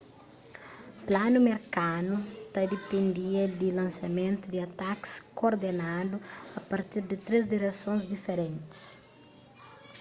planu merkanu ta dipendia di lansamentu di atakis kordenadu a partir di três diresons diferentis